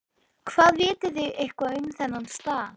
Hvað, vitið þið eitthvað um þennan stað?